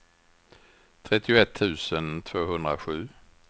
trettioett tusen tvåhundrasju